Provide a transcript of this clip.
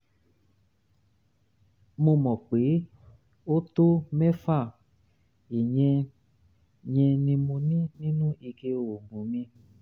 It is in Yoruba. mo mọ̀ pé ó um tó mẹ́fà; iye yẹn ni mo ní nínú ike oògùn mi